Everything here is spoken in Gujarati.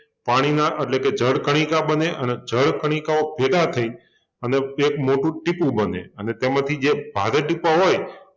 પાણીના એટલે કે જળ કણિકા બને અને જળ કણિકાઓ ભેગા થઈને અને એક મોટું ટીપું બને અને તેમાંંથી જે ભારે ટીપાં હોય